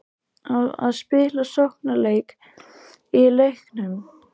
Á að spila sóknarleik í leiknum?